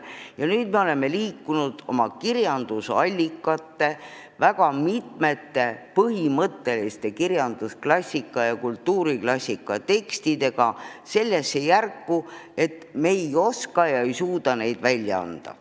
Ja nüüd me oleme liikunud oma kirjandusallikate, väga mitmete põhimõtteliste kirjandusklassika ja kultuuriklassika tekstidega sellesse järku, et me ei oska ja ei suuda neid välja anda.